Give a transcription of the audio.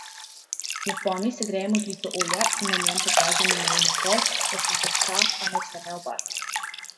V ponvi segrejemo žlico olja in na njem popražimo narezan por, da se zmehča, a naj se ne obarva.